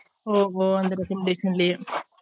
ஓ ஹோ அந்த recommadation லையே